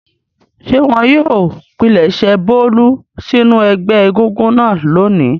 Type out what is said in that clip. Ṣé wọn yóò pilẹ̀sẹ̀ Bólú sínú ẹgbẹ́ egúngún náà lónìí?